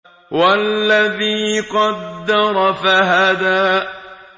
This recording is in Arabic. وَالَّذِي قَدَّرَ فَهَدَىٰ